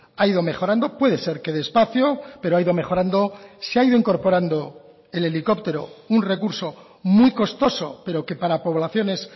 ha ido mejorando puede ser que despacio pero ha ido mejorando se ha ido incorporando el helicóptero un recurso muy costoso pero que para poblaciones